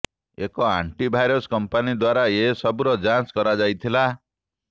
ଏକ antivirus company ଦ୍ୱାରା ଏ ସବୁର ଯାଞ୍ଚ କରାଯାଇଥିଲା